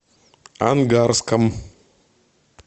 ангарском